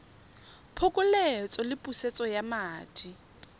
phokoletso le pusetso ya madi